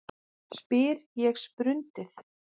spyr ég sprundið.